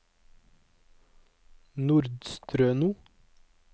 Nordstrøno